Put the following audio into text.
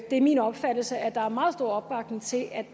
er min opfattelse at der er meget stor opbakning til at